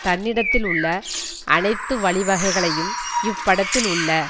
தன்னிடத்தில் உள்ள அனைத்து வழிவகைகளையும் இப்படத்தியில் உள்ள